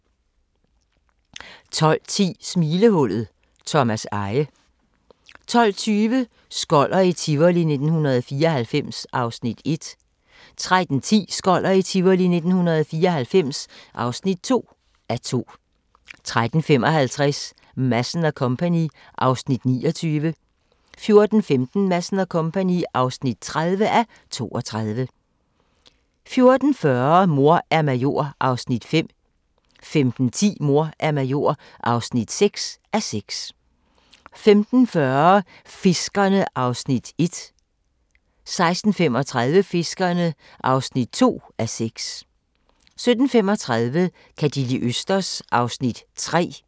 12:10: Smilehullet – Thomas Eje 12:20: Skoller i Tivoli 1994 (1:2) 13:10: Skoller i Tivoli 1994 (2:2) 13:55: Madsen & Co. (29:32) 14:15: Madsen & Co. (30:32) 14:40: Mor er major (5:6) 15:10: Mor er major (6:6) 15:40: Fiskerne (1:6) 16:35: Fiskerne (2:6) 17:35: Ka' De li' østers? (3:6)